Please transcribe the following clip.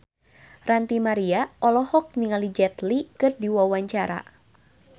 Ranty Maria olohok ningali Jet Li keur diwawancara